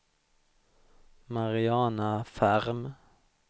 Mariana Ferm